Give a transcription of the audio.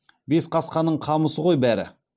бесқасқаның қамысы ғой бәрі